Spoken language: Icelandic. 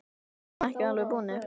Við erum ekki alveg búnir.